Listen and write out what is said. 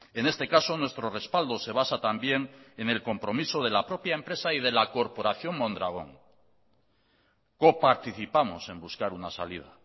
en este caso nuestro respaldo se basa también en el compromiso de la propia empresa y de la corporación mondragón coparticipamos en buscar una salida